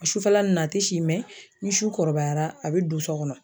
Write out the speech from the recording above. A sufɛla nun na a tɛ si ni su kɔrɔbayara a be don so kɔnɔ.